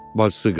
Bacıqızı.